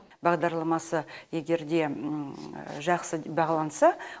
бағдарламасы егер де жақсы бағаланса